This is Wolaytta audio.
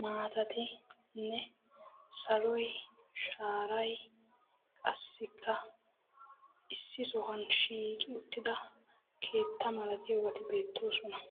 maatatinne saloy shaaray qassikka issi sohuwan shiiqi uttida keettaa malatiyaabati beettoosona.